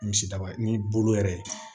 Misidaba ye ni bolo yɛrɛ ye